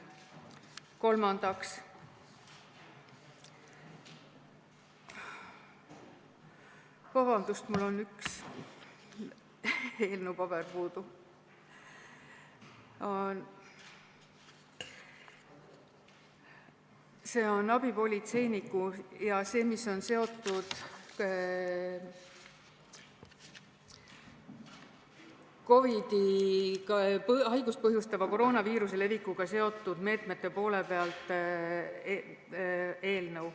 Kolmandaks on abipolitseiniku seaduse ja teiste seaduste muutmise seaduse eelnõu – see, mis on seotud COVID-19 haigust põhjustava koroonaviiruse levikuga seotud meetmetega.